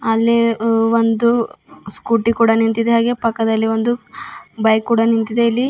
ಅಲ್ಲೇ ಅ ಒಂದು ಸ್ಕೂಟಿ ಕೂಡ ನಿಂತಿದೆ ಹಾಗೇ ಪಕ್ಕದಲ್ಲಿ ಒಂದು ಬೈಕ್ ಕೂಡ ನಿಂತಿದೆ ಇಲ್ಲಿ --